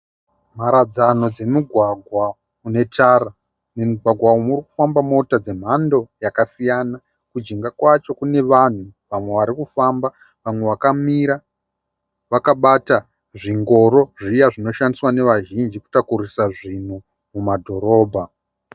Mharadzano dzemugwagwa une tara, mugwagwa umu muri kufamba mota dzemhando yakasiyana. Kujinga kwacho kune vanhu vari kufamba vamwe vakamira vakabata zvingoro zviya zvinoshandiswa nevazhinji kutakura zvinhu mumadhorobha.